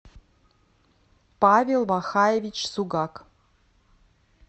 павел вахаевич сугак